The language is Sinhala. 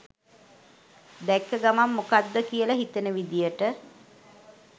දැක්ක ගමන් මොකක්ද කියල හිතෙන විදියට